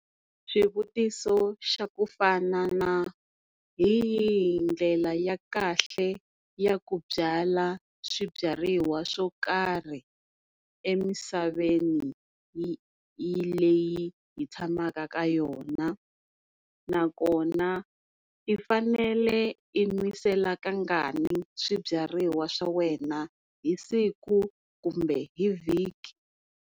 Swivutiso xa ku fana na hi yihi ndlela ya kahle ya ku byala swibyariwa swo karhi emisaveni leyi hi tshamaka ka yona nakona i fanele i n'wisela kangani swibyariwa swa wena, hi siku kumbe hi vhiki?